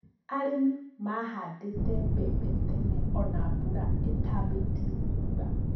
Arĩmi mahandĩte mbembe tene ona mbura ĩtambĩtie kura